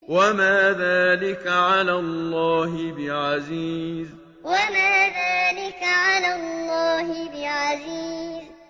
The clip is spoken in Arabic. وَمَا ذَٰلِكَ عَلَى اللَّهِ بِعَزِيزٍ وَمَا ذَٰلِكَ عَلَى اللَّهِ بِعَزِيزٍ